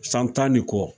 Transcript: San tan ni kɔ